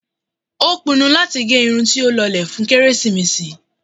Ó pinnu láti gẹ irun tó lọlẹ̀ fún kérésìmesì.